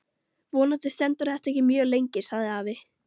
Vonandi stendur þetta ekki mjög lengi sagði afi.